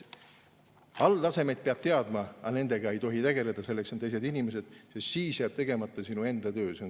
Alltasemeid peab teadma, aga nendega ei tohi tegeleda, selleks on teised inimesed, sest muidu jääb tegemata sinu enda töö.